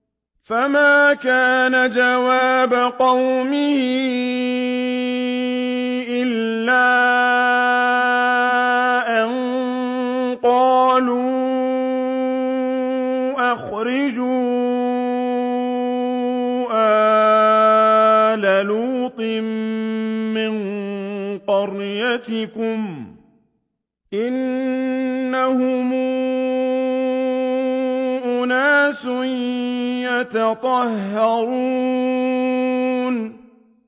۞ فَمَا كَانَ جَوَابَ قَوْمِهِ إِلَّا أَن قَالُوا أَخْرِجُوا آلَ لُوطٍ مِّن قَرْيَتِكُمْ ۖ إِنَّهُمْ أُنَاسٌ يَتَطَهَّرُونَ